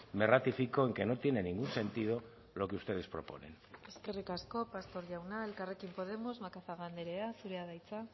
me ratifico en que no tiene ningún sentido lo que ustedes proponen eskerrik asko pastor jauna elkarrekin podemos macazaga andrea zurea da hitza